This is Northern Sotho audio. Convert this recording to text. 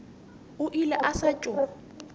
o ile a sa tšo